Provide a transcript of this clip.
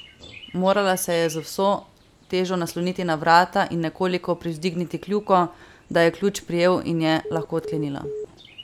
Morala se je z vso težo nasloniti na vrata in nekoliko privzdigniti kljuko, da je ključ prijel in je lahko odklenila.